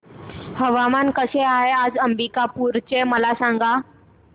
हवामान कसे आहे आज अंबिकापूर चे मला सांगा